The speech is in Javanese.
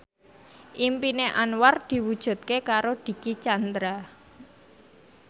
impine Anwar diwujudke karo Dicky Chandra